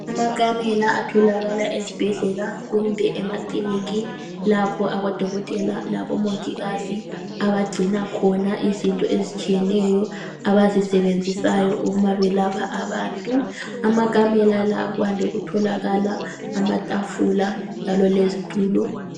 Amakamela atholakala ezibhedlela kumbe emakilinika lapho abodokotela labomongikazi abagcina khona izinto ezitshiyeneyo abazisebenzisayo uma belapha abantu. Kumakamela la kwande ukutholakala amatafula kunye lezitulo.